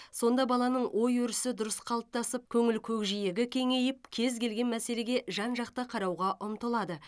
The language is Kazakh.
сонда баланың ой өрісі дұрыс қалыптасып көңіл көкжиегі кеңейіп кез келген мәселеге жан жақты қарауға ұмтылады